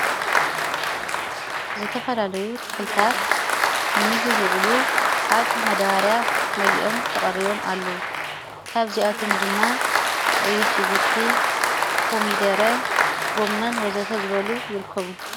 ዝተፈላለዩ ተኽልታት ንሚጊዝዕሉ ኣብ መዳባርያ መሊኦም ተቐሪቦም ኣለዉ ካብ እዚኣቶም ድማ ቀይሕሽጉርቲ ኮሚደረ ጐመን ወዘተ ዝበሉ ይርክቡ።